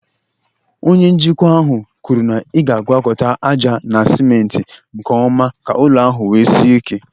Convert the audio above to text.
Onye njikwa ahụ kwuru na ị ga-agwakọta ájá na cimenti nke ọma ka ụlọ ahụ wee sie ike.